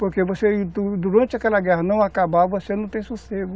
Porque você, durante aquela guerra não acabar, você não tem sossego.